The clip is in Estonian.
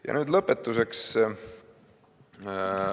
Ja nüüd lõpetuseks.